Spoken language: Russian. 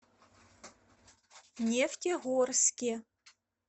нефтегорске